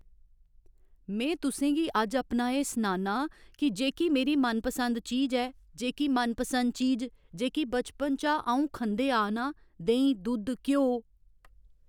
में तुसेंगी अज्ज अपना एह् सनाना कि जेह्की मेरी मनपसंद चीज ऐ जेह्की मनपसंद चीज जेह्की बचपन चा अं'ऊ खंदे आ ना देहीं दुद्ध घ्योऽ